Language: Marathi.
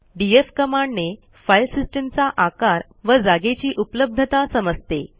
डीएफ कमांडने फाईल सिस्टीमचा आकार व जागेची उपलब्धता समजते